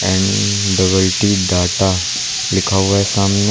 N double T data लिखा हुआ है सामने।